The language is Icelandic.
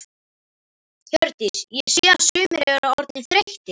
Hjördís: Ég sé að sumir eru orðnir þreyttir?